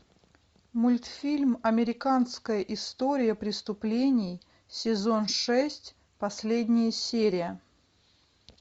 мультфильм американская история преступлений сезон шесть последняя серия